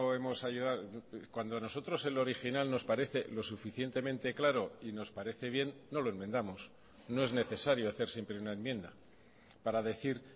hemos cuando nosotros el original nos parece lo suficientemente claro y nos parece bien no lo enmendamos no es necesario hacer siempre una enmienda para decir